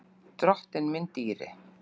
Drottinn minn dýri!